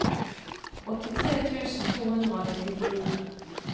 åttitre tusen to hundre og nittifire